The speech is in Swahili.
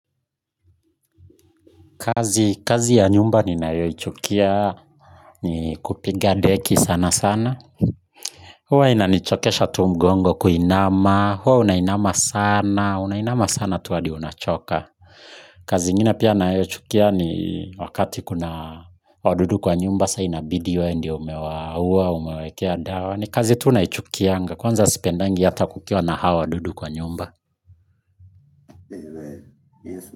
Kazi ya nyumba ninayoichukia ni kupiga deki sana sana huwa inanichokesha tu mgongo kuinama, huwa unainama sana, unainama sana tu hadi unachoka kazi ingine pia nayochukia ni wakati kuna wadudu kwa nyumba sa inabidi wewe ndio umewauwa, umewaekea dawa ni kazi tu naichukianga, kwanza sipendangi hata kukiwa na hao wadudu kwa nyumba.